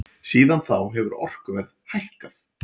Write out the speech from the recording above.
Síðan þá hefur orkuverð hækkað.